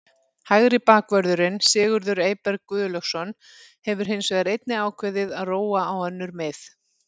Hægri bakvörðurinn Sigurður Eyberg Guðlaugsson hefur hins vegar einnig ákveðið að róa á önnur mið.